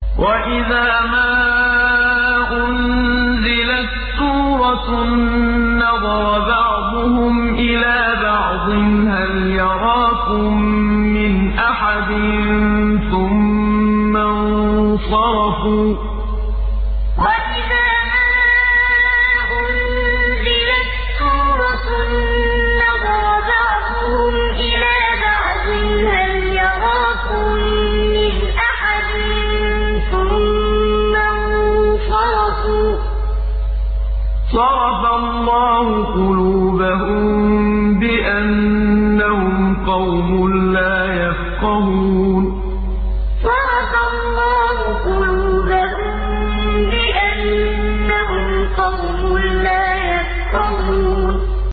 وَإِذَا مَا أُنزِلَتْ سُورَةٌ نَّظَرَ بَعْضُهُمْ إِلَىٰ بَعْضٍ هَلْ يَرَاكُم مِّنْ أَحَدٍ ثُمَّ انصَرَفُوا ۚ صَرَفَ اللَّهُ قُلُوبَهُم بِأَنَّهُمْ قَوْمٌ لَّا يَفْقَهُونَ وَإِذَا مَا أُنزِلَتْ سُورَةٌ نَّظَرَ بَعْضُهُمْ إِلَىٰ بَعْضٍ هَلْ يَرَاكُم مِّنْ أَحَدٍ ثُمَّ انصَرَفُوا ۚ صَرَفَ اللَّهُ قُلُوبَهُم بِأَنَّهُمْ قَوْمٌ لَّا يَفْقَهُونَ